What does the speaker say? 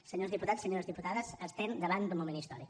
senyors diputats senyores diputades estem davant d’un moment històric